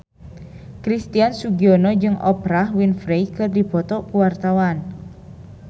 Christian Sugiono jeung Oprah Winfrey keur dipoto ku wartawan